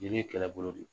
Jeli ye kɛlɛbolo de ye